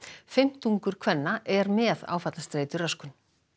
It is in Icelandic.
fimmtungur kvenna er með áfallastreituröskun